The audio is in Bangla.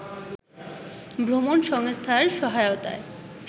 ভ্রমণ সংস্থার সহায়তায়